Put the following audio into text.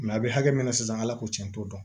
a bɛ hakɛ min na sisan ala ko tiɲɛ t'o dɔn